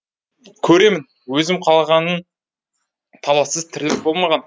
көремін өзім қалғанын талассыз тірлік болмаған